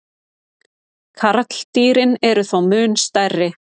Karldýrin eru þó mun stærri.